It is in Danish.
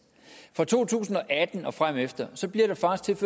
fra to tusind og atten og fremefter bliver der faktisk